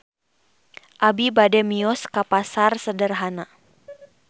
Abi bade mios ka Pasar Sederhana